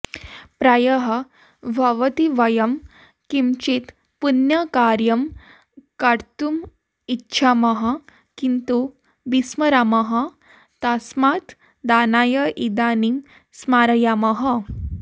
प्रायः भवति वयं किञ्चित् पुण्यकार्यं कर्तुम् इच्छामः किन्तु विस्मरामः तस्मात् दानाय इदानीं स्मारयामः